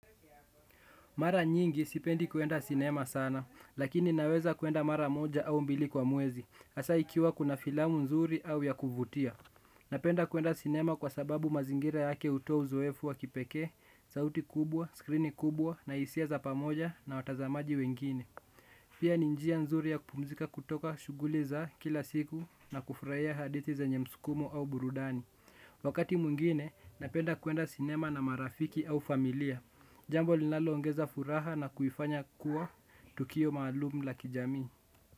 Mara nyingi sipendi kwenda sinema sana, lakini naweza kwenda mara moja au mbili kwa mwezi, asaa ikiwa kuna filamu nzuri au ya kuvutia. Napenda kwenda sinema kwa sababu mazingira yake hutoa uzoefu wa kipekee, sauti kubwa, skrini kubwa na isia za pamoja na watazamaji wengine. Pia ni njia nzuri ya kupumzika kutoka shughuli za kila siku na kufraia hadithi zenye mskumo au burudani. Wakati mwingine, napenda kwenda sinema na marafiki au familia. Jambo linaloongeza furaha na kuifanya kuwa tukio maalum la kijamii.